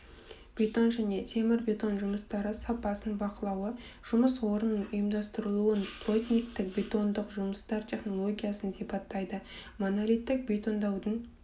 бетон және темірбетон жұмыстары сапасын бақылауы жұмыс орнының ұйымдастырылуы плотниктік бетондық жұмыстар технологиясын сипаттайды монолиттік бетондаудың